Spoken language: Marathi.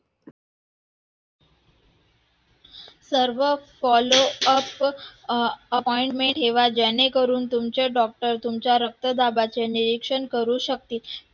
सर्व follow-up appointment ठेवा जेणेकरून तुमचे doctor तुमच्या रक्तदाबाचे निरीक्षण करून शकतील